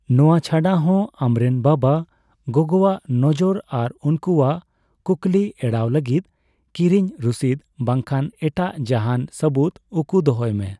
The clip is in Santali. ᱱᱚᱣᱟ ᱪᱷᱟᱰᱟ ᱦᱚᱸ, ᱟᱢᱨᱮᱱ ᱵᱟᱵᱟᱼᱜᱚᱜᱚᱣᱟᱜ ᱱᱚᱡᱚᱨ ᱟᱨ ᱩᱱᱠᱩᱣᱟᱜ ᱠᱩᱠᱞᱤ ᱮᱲᱟᱣ ᱞᱟᱹᱜᱤᱫ ᱠᱤᱨᱤᱧ ᱨᱩᱥᱤᱫ ᱵᱝᱠᱷᱟᱱ ᱮᱴᱟᱜ ᱡᱟᱦᱟᱸᱱ ᱥᱟᱹᱵᱩᱫ ᱩᱠᱩ ᱫᱚᱦᱚᱭ ᱢᱮ ᱾